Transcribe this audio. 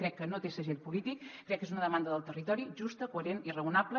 crec que no té segell polític crec que és una demanda del territori justa coherent i raonable